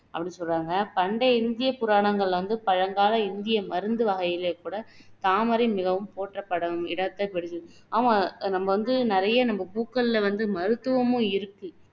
அப்படின்னு சொல்றாங்க பண்டைய இந்திய புராணங்கள்ல வந்து பழங்கால இந்திய மருந்து வகைகள்ல கூட தாமரை மிகவும் போற்றப்படும் இடத்தை பிடித்தது ஆமா நம்ம வந்து நிறைய நம்ம பூக்கள்ல வந்து மருத்துவமும் இருக்கு